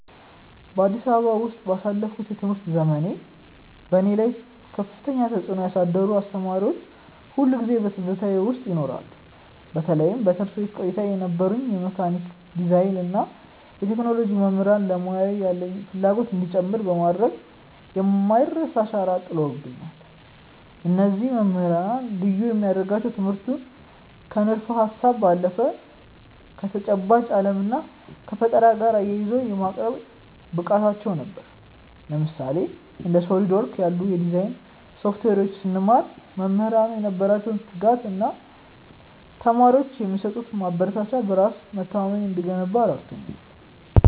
በአዲስ አበባ ውስጥ ባሳለፍኩት የትምህርት ዘመኔ፣ በእኔ ላይ ከፍተኛ ተጽዕኖ ያሳደሩ አስተማሪዎች ሁልጊዜም በትዝታዬ ውስጥ ይኖራሉ። በተለይም በትምህርት ቤት ቆይታዬ የነበሩኝ የመካኒካል ዲዛይን እና የቴክኖሎጂ መምህራን ለሙያው ያለኝን ፍላጎት እንዲጨምር በማድረግ የማይረሳ አሻራ ጥለውብኛል። እነዚህ መምህራን ልዩ የሚያደርጋቸው ትምህርቱን ከንድፈ-ሀሳብ ባለፈ ከተጨባጭ ዓለም እና ከፈጠራ ጋር አያይዘው የማቅረብ ብቃታቸው ነበር። ለምሳሌ፣ እንደ SOLIDWORKS ያሉ የዲዛይን ሶፍትዌሮችን ስንማር፣ መምህራኑ የነበራቸው ትጋት እና ለተማሪዎች የሚሰጡት ማበረታቻ በራስ መተማመኔ እንዲገነባ ረድቶኛል።